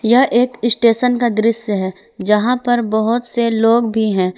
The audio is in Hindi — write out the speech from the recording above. यह एक स्टेशन का दृश्य है जहां पर बहोत से लोग भी हैं।